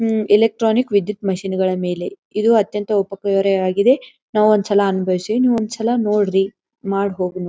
ಹಮ್ electronic ವಿದ್ಯುತ್ ಮಿಶನ್ಗಳ ಮೇಲೆ ಇದು ಅತ್ಯಂತ ಉಪಕರವಾಗಿದೆ. ನಾವು ಒಂದ್ ಸಲ ಅನುಭವಿಸಿ ನೀವ್ ಒಂದ್ ಸಲ ನೋಡ್ರಿ ಮಾಡಬಹುದು.